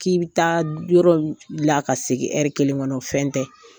K'i bɛ taa yɔrɔ la ka segin kelen kɔnɔ o fɛn tɛ